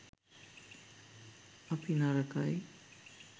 අපි නරකයි